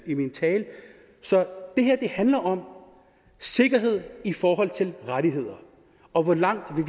i min tale så det her handler om sikkerhed i forhold til rettigheder og hvor langt vi